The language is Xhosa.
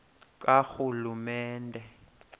karhulumente